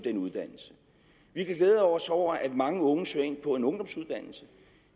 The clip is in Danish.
glæde os over at mange unge søger ind på en ungdomsuddannelse